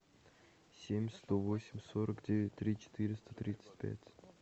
семь сто восемь сорок девять три четыреста тридцать пять